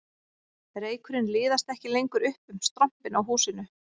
Reykurinn liðast ekki lengur upp um strompinn á húsinu